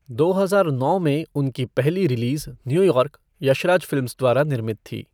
दो हजार नौ में उनकी पहली रिलीज, न्यूयॉर्क, यशराज फ़िल्म्स द्वारा निर्मित थी।